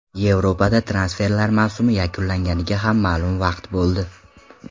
Yevropada transferlar mavsumi yakunlanganiga ham ma’lum vaqt bo‘ldi.